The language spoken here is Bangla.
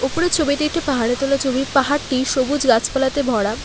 উপরে ছবিটি একটি পাহাড়ে তোলা ছবি পাহাড়টি সবুজ গাছপালাতে ভরা।